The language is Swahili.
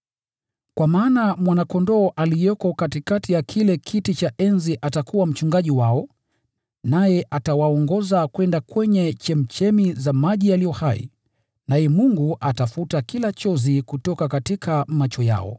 Kwa maana Mwana-Kondoo aliyeko katikati ya kile kiti cha enzi atakuwa Mchungaji wao; naye atawaongoza kwenda kwenye chemchemi za maji yaliyo hai. Naye Mungu atafuta kila chozi kutoka macho yao.”